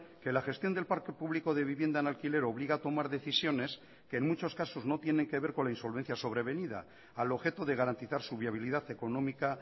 que la gestión del parque público de vivienda en alquiler obliga a tomar decisiones que en muchos casos no tienen que ver con la insolvencia sobrevenida al objeto de garantizar su viabilidad económica